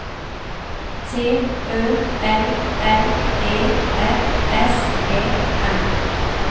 T Ø L L E F S E N